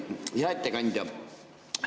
Hea ettekandja!